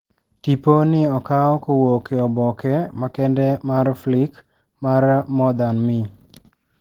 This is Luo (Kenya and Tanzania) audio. Tipo ni okaw kowuok e oboke makende mar Flirc mar More than Me.